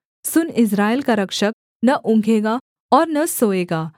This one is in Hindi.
सुन इस्राएल का रक्षक न ऊँघेगा और न सोएगा